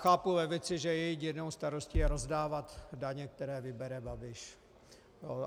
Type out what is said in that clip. Chápu levici, že její jedinou radostí je rozdávat daně, které vybere Babiš.